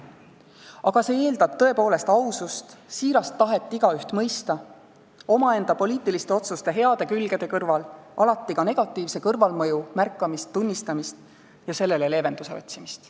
Aga see eeldab tõepoolest ausust ja siirast tahet igaüht mõista ning omaenda poliitiliste otsuste heade külgede nägemise kõrval alati ka negatiivse kõrvalmõju tunnistamist ja sellele leevenduse otsimist.